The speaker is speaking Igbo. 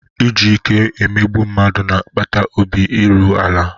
Iji ike emegbu mmadụ na-akpata obi erughị ala.